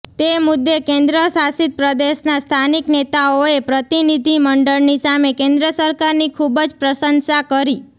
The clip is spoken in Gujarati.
તે મુદ્દે કેન્દ્ર શાસિત પ્રદેશનાં સ્થાનિક નેતાઓએ પ્રતિનિધિમંડળની સામે કેન્દ્ર સરકારની ખુબ જ પ્રશંસા કરી